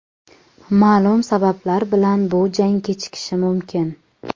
Ma’lum sabablar bilan bu jang kechikishi mumkin.